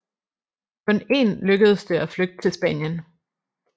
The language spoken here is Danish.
Kun én lykkedes det at flygte til Spanien